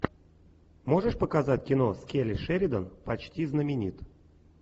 можешь показать кино с келли шеридан почти знаменит